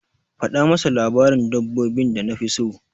Faɗa masa labarin dabbobin da nafi so.